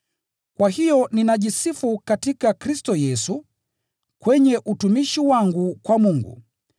Kwa hiyo ninajisifu katika Kristo Yesu, kwenye utumishi wangu kwa Mungu.